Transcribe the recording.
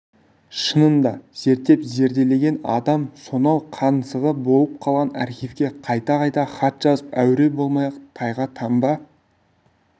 шынында зерттеп зерделеген адам сонау қаңсығы болып қалған архивке қайта-қайта хат жазып әуре болмай-ақ тайға таңба